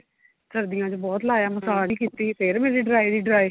ਸਰਦੀਆਂ ਚ ਬਹੁਤ ਲਾਇਆ ਮਸਾਜ ਵੀ ਕੀਤੀ ਫੇਰ ਮੇਰੀ dry ਦੀ dry